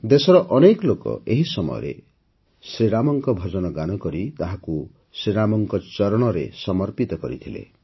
ଦେଶର ଅନେକ ଲୋକ ଏହି ସମୟରେ ରାମଙ୍କ ଭଜନ ଗାନ କରି ତାହାକୁ ଶ୍ରୀ ରାମଙ୍କ ଚରଣରେ ସମର୍ପିତ କରିଥିଲେ